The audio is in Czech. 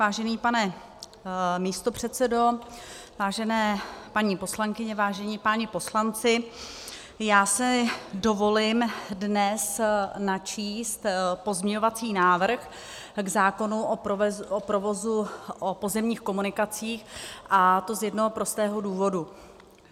Vážený pane místopředsedo, vážené paní poslankyně, vážení páni poslanci, já si dovolím dnes načíst pozměňovací návrh k zákonu o provozu na pozemních komunikacích, a to z jednoho prostého důvodu.